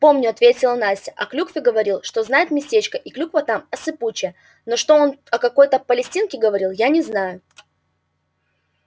помню ответила настя о клюкве говорил что знает местечко и клюква там осыпучая но что он о какой-то палестинке говорил я не знаю